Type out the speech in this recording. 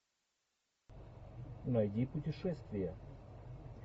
найди путешествия